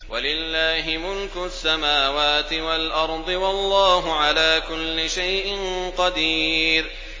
وَلِلَّهِ مُلْكُ السَّمَاوَاتِ وَالْأَرْضِ ۗ وَاللَّهُ عَلَىٰ كُلِّ شَيْءٍ قَدِيرٌ